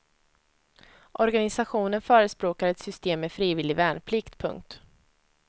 Organisationen förespråkar ett system med frivillig värnplikt. punkt